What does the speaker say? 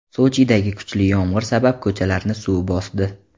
Sochidagi kuchli yomg‘ir sabab ko‘chalarni suv bosdi.